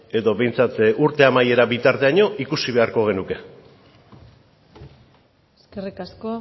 edo behintzat urte amaiera bitarteraino ikusi beharko genuke eskerrik asko